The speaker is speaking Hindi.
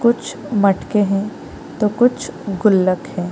कुछ मटके हैं तो कुछ गुल्लक है |